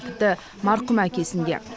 тіпті марқұм әкесін де